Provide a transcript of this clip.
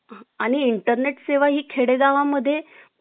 आणि intenet सेवा ही खेडेगावा मधे